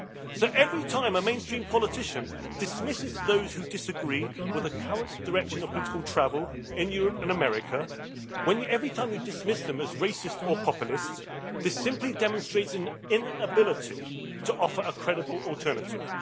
So every time a mainstream politician dismisses those who disagree with the current direction of political travel in Europe and America, every time you dismiss them as racist or populist, this simply demonstrates an inability to offer a credible alternative.